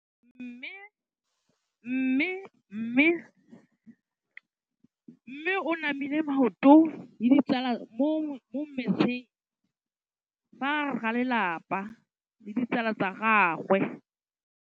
Mme o namile maoto mo mmetseng ka fa gare ga lelapa le ditsala tsa gagwe.